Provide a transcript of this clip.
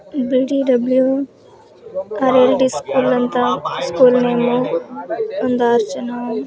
BDWRID school ಅಂತ ಆ school name ಒಂದ್ ಆರ್ ಜನ--